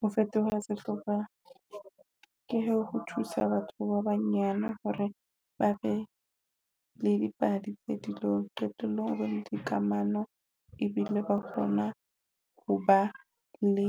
Ho fetoha sehlopha ke ho thusa batho ba banyane hore ba be le dipadi tse dilong. Qetellong ho bana le dikamano ebile ba kgona ho ba le